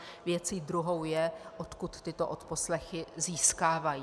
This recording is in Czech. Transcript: Věcí druhou je, odkud tyto odposlechy získávají.